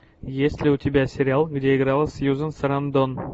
есть ли у тебя сериал где играла сьюзен сарандон